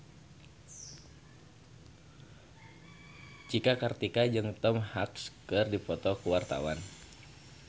Cika Kartika jeung Tom Hanks keur dipoto ku wartawan